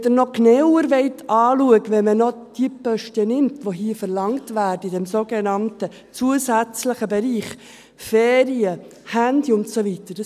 Wenn Sie noch genauer anschauen wollen, wenn man noch die Posten nimmt, die im sogenannt zusätzlichen Bereich – Ferien, Handy und so weiter – verlangt werden ...